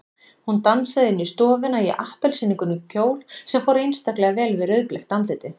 Hún dansaði inn í stofuna í appelsínugulum kjól sem fór einstaklega vel við rauðbleikt andlitið.